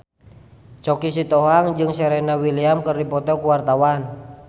Choky Sitohang jeung Serena Williams keur dipoto ku wartawan